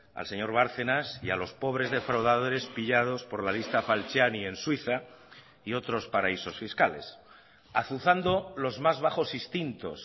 al señor bárcenas y a los pobres defraudadores pillados por la lista falciani en suiza y otros paraísos fiscales azuzando los más bajos instintos